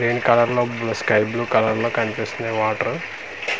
Green colour లో blue sky blue colour లో కనిపిస్తున్నాయి వాటరు .